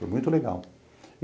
Foi muito legal.